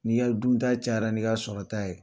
N'i ka dunta cayara n'i ka sɔrɔta ye